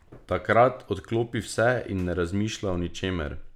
Takrat odklopi vse in ne razmišlja o ničemer.